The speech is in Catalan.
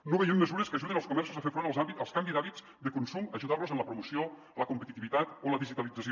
no veiem mesures que ajudin els comerços a fer front al canvi d’hàbits de consum ajudant los en la promoció la competitivitat o la digitalització